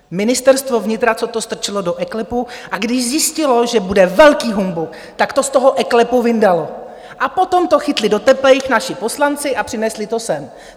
Ministerstvo vnitra, co to strčilo do eKLEPu, a když zjistilo, že bude velký humbuk, tak to z toho eKLEPu vyndalo, a potom to chytli do teplejch naši poslanci a přinesli to sem.